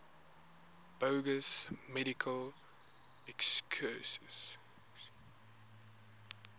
bogus medical excuses